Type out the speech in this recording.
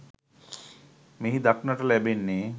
මෙහි දක්නට ලැබෙන්නේ